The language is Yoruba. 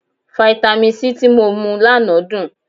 Fáítámì C tí mo mu lánàá dùn.